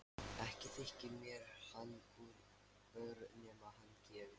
Ekki þyki mér hann ör nema hann gefi.